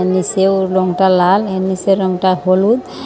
নীছেও রংটা লাল এর নীছের রংটা হলুদ।